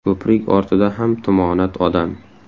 Ko‘prik ortida ham tumonat odam.